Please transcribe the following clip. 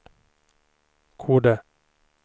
Kode